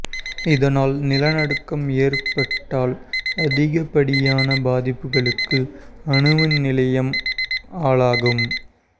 இதனால் நிலநடுக்கம் ஏற்பட்டால் அதிகப்படியான பாதிப்புகளுக்கு அணுமின் நிலையம் ஆளாகும்